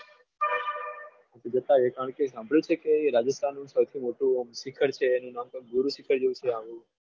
આ તો જતાએ કારણ કે સાંભળ્યું છે કે રાજસ્થાનમાં સૌથી મોટું શિખર છે એનું નામ તો ગુરુ શિખર જેવું છે.